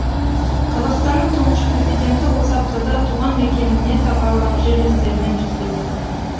қазақстанның тұңғыш президенті осы аптада туған мекеніне сапарлап жерлестерімен жүздесті